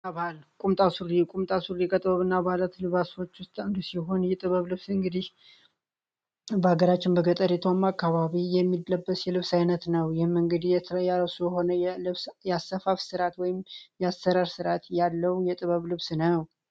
ቁምጣ ሱሪ የከጥበብ እና ባለት ልባች ውስጥ ንዱ ሲሆን የጥበብ ልብስ እንግዲህ በሀገራችን በገጠሪቷማ አካባቢ የሚለበት የልብስ ዓይነት ነው። ይህም እንግዲህ የተለ ያረሱ የሆነ ብያሰፋፍ ስርዓት ወይም ያሰረር ስርዓት ያለው የጥበብ ልብስ ነው።